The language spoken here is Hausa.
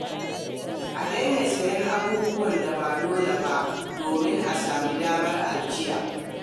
A daina sayen abubuwan da ba dole ba domin a sami damar ajiya.